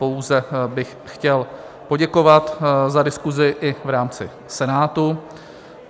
Pouze bych chtěl poděkovat za diskusi i v rámci Senátu.